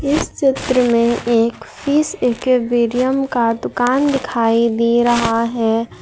इस चित्र में एक फीस एकुबेरियम का दुकान दिखाई दे रहा है।